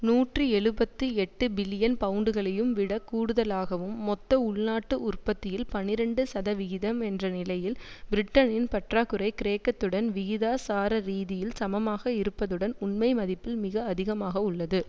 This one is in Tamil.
நூற்றி எழுபத்து எட்டு பில்லியன் பவுண்டுகளையும் விடக் கூடுதலாகவும் மொத்த உள்நாட்டு உற்பத்தியில் பனிரண்டு சதவிகிதம் என்ற நிலையில் பிரிட்டனின் பற்றாக்குறை கிரேக்கத்துடன் விகிதாசாரரீதியில் சமமாக இருப்பதுடன் உண்மை மதிப்பில் மிக அதிகமாக உள்ளது